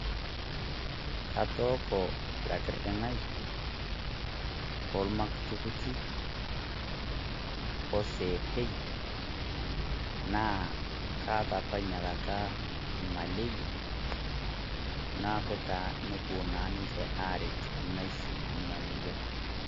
Atooko lakrrding'ai oo lmakutikuti oo seepei naa kaata apaa nyiakata maleria naeku taa nepoo naa ninchee areet naishu nia moyian.